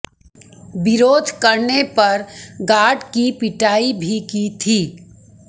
विरोध करने पर गार्ड की पिटाई भी की थी